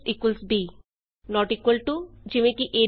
ab not equal to easy